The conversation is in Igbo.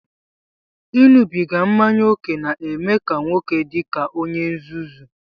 Iṅụbiga mmanya ókè na-eme nwoke ọ dị ka onye nzuzu